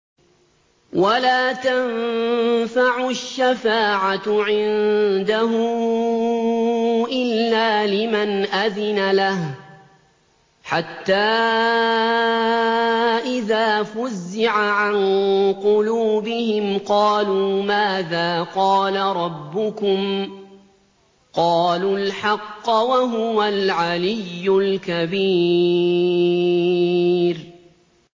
وَلَا تَنفَعُ الشَّفَاعَةُ عِندَهُ إِلَّا لِمَنْ أَذِنَ لَهُ ۚ حَتَّىٰ إِذَا فُزِّعَ عَن قُلُوبِهِمْ قَالُوا مَاذَا قَالَ رَبُّكُمْ ۖ قَالُوا الْحَقَّ ۖ وَهُوَ الْعَلِيُّ الْكَبِيرُ